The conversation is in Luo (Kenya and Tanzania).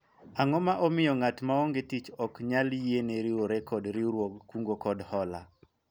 ang'o ma omiyo ng'at maonge tich ok nyal yiene riwore kod riwruog kungo kod hola ?